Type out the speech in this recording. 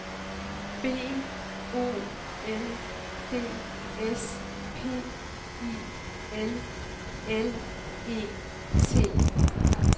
B O L D S P I L L E T